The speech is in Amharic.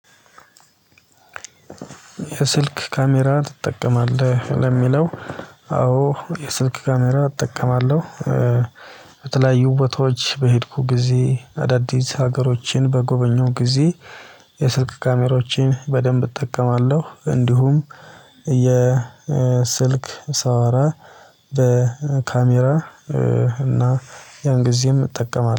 የስልክ ካሜራ ትጠቀማለህ? ለሚለው አዎ የስልክ ካሜራ እጠቀማለሁ። በተለያዩ ቦታዎች በሄድኩ ጊዜ አዳዲስ ሀገሮችን በጎበኘው ጊዜ የስልክ ካሜሮችን በደንብ እጠቀማለሁ እንዲሁም የስልክ ሳወራ በካሜራ እና ያን ጊዜም እጠቀማለሁ